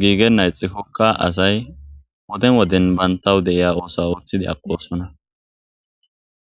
gigena ixikoka asayi Woden woden banta de'iya osa othanawuothidi aqosona